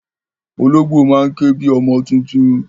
Ológbò máa ń ké bi ọmọ tuntun.